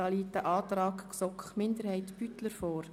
hier liegt ein Antrag der GSoK-Minderheit/ Beutler vor.